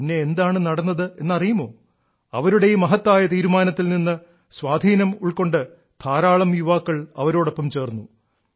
പിന്നെ എന്താണ് നടന്നത് എന്നറിയുമോ അവരുടെ ഈ മഹത്തായ തീരുമാനത്തിൽ നിന്ന് സ്വാധീനം ഉൾക്കൊണ്ട് ധാരാളം യുവാക്കൾ അവരോടൊപ്പം ചേർന്നു